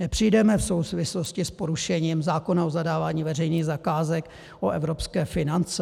Nepřijdeme v souvislosti s porušením zákona o zadávání veřejných zakázek o evropské finance?